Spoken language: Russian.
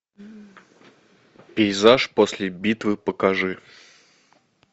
пейзаж после битвы покажи